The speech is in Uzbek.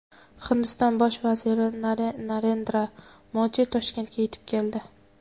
Hindiston bosh vaziri Narendra Modi Toshkentga yetib keldi.